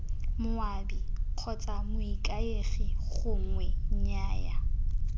moabi kgotsa moikaegi gongwe nnyaya